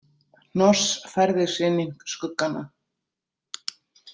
Hnoss færði sig inn í skuggana.